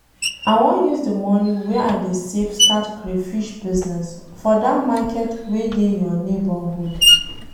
I wan use the money wey I dey save start crayfish business for dat market wey dey your neighborhood